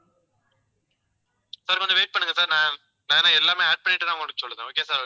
sir கொஞ்சம் wait பண்ணுங்க sir நான், நானு எல்லாமே add பண்ணிட்டுதான் உங்களுக்கு சொல்றேன் okay sir